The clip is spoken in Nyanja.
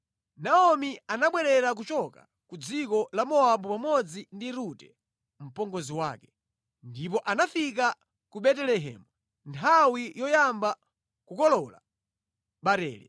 Naomi anabwerera kuchoka ku dziko la Mowabu pamodzi ndi Rute mpongozi wake. Ndipo anafika ku Betelehemu nthawi yoyamba kukolola barele.